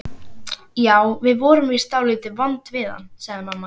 Já, við vorum víst dálítið vond við hann, sagði mamma.